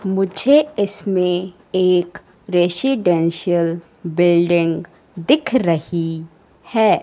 मुझे इसमें एक रेसिडेंशियल बिल्डिंग दिख रही है।